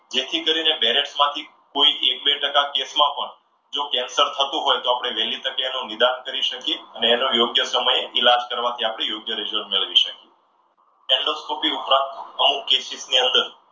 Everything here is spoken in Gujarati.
જેથી કરીને બેરેટમાંથી કોઈ એક બે ટકા case માં પણ જો કેન્સર થતું હોય તો આપણે વહેલી તકે એનું નિદાન કરી શકીએ અને એનો યોગ્ય સમયે ઈલાજ કરવાથી આપણી યોગ્ય result મેળવી શકીએ. એન્ડોસ્કોપી ઉપરાંત અમુક cases ની અંદર,